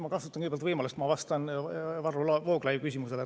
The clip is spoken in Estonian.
Ma kasutan kõigepealt võimalust ja vastan Varro Vooglaiu küsimusele.